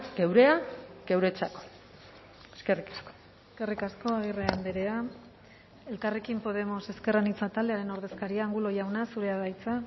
geurea geuretzat eskerrik asko eskerrik asko agirre andrea elkarrekin podemos ezker anitza taldearen ordezkaria angulo jauna zurea da hitza